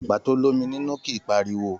Àgbà to l'ómi nínú kìí pariwo